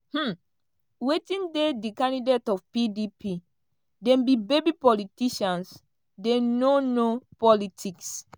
um "wetin dey di candidate of pdp dem be baby politicians dem no know politics.